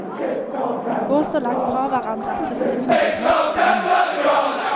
Gå så langt fra hverandre at hyssingen blir helt stram.